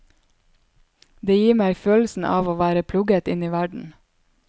Det gir meg følelsen av å være plugget inn i verden.